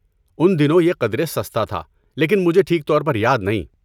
ان دنوں یہ قدرے سستا تھا، لیکن مجھے ٹھیک طور پر یاد نہیں۔